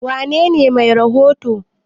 wanene Mai rahoto?